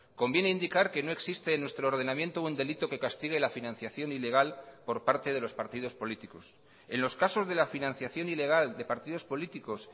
conviene indicar que no existe en nuestro ordenamiento un delito que castigue la financiación ilegal por parte de los partidos políticos en los casos de la financiación ilegal de partidos políticos